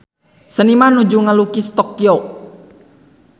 Seniman nuju ngalukis Tokyo